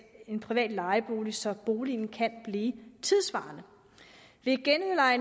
en privat lejebolig så boligen kan blive tidssvarende